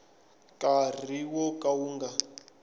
nkarhi wo ka wu nga